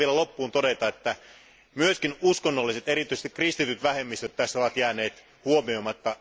Haluan vielä loppuun todeta, että myös uskonnolliset, erityisesti kristityt, vähemmistöt ovat jääneet huomioimatta.